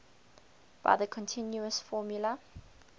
by the continuous formula